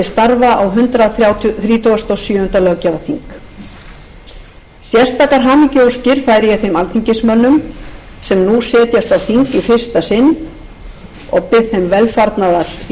til starfa á hundrað þrítugasta og sjöunda löggjafarþing sérstakar hamingjuóskir færi ég þeim alþingismönnum sem nú setjast á þing í fyrsta sinn og bið þeim velfarnaðar í störfum að þessu sinni eru nýir alþingismenn fleiri en